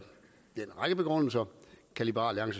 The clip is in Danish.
begrundelser kan liberal